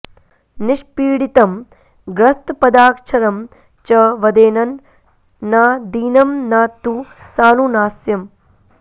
निष्पीडितं ग्रस्तपदाक्षरं च वदेन्न न दीनं न तु सानुनास्यम्